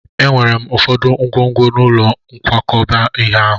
Enwere m ụfọdụ ngwongwo n'ụlọ nkwakọba ihe ahụ.